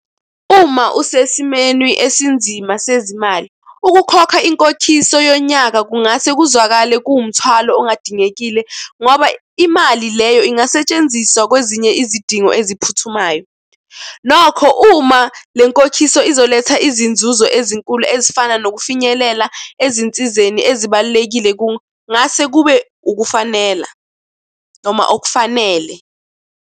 Uma usesimeni esinzima sezimali, ukukhokha inkokhiso yonyaka kungase kuzwakale kuwumthwalo ongadingekile, ngoba imali leyo ingasetshenziswa kwezinye izidingo eziphuthumayo. Nokho uma le nkokhiso izoletha izinzuzo ezinkulu ezifana nokufinyelela ezinsizeni ezibalulekile, kungase kube ukufanela noma okufanele.